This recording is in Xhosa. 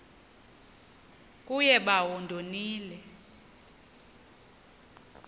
kuye bawo ndonile